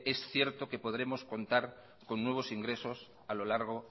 es cierto que podremos contar con nuevos ingresos a lo largo